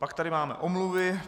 Pak tady máme omluvy.